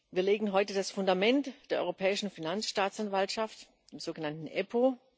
Wir legen heute das Fundament der Europäischen Finanzstaatsanwaltschaft, der sogenannten EPPO.